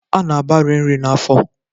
A na-agbari nri n'afọ